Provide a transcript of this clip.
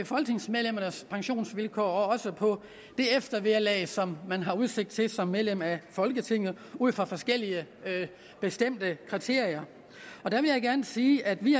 folketingsmedlemmers pensionsvilkår og også på det eftervederlag som man har udsigt til som medlem af folketinget ud fra forskellige bestemte kriterier der vil jeg gerne sige at vi